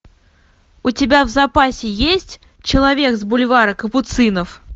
у тебя в запасе есть человек с бульвара капуцинов